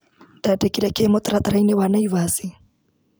Ndandĩkire kĩĩ mũtaratara-inĩ wa Naĩvasi.